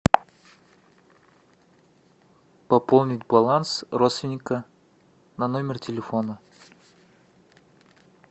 пополнить баланс родственника на номер телефона